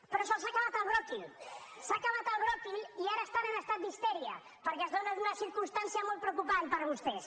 però se’ls ha acabat el bròquil s’ha acabat el bròquil i ara estan en estat d’histèria perquè es donen unes circumstàncies molt preocupants per a vostès